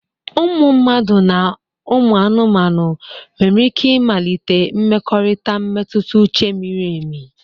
Ụmụ mmadụ na ụmụ anụmanụ nwere ike ịmalite mmekọrịta mmetụta uche miri emi.